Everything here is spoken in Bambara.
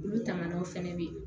Olu tanganiw fɛnɛ be yen